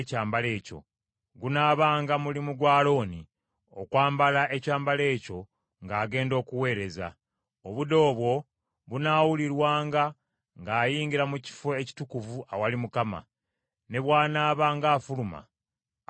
Gunaabanga mulimu gwa Alooni okwambala ekyambalo ekyo ng’agenda okuweereza. Obude obwo bunaawulirwanga ng’ayingira mu Kifo Ekitukuvu awali Mukama , ne bw’anaabanga afuluma, aleme okufa.